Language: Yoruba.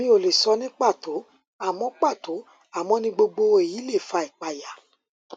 mi ò lè sọ ní pàtó àmọ pàtó àmọ ní gbogbogbò èyí lè fa ìpayà